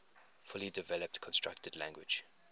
fully developed constructed language